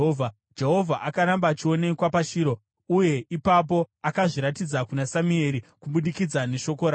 Jehovha akaramba achionekwa paShiro, uye ipapo akazviratidza kuna Samueri kubudikidza neshoko rake.